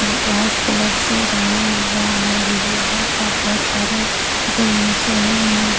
White colour से रंगा हुआ है लोहे का बहुत सारे जिम मशीन हैं।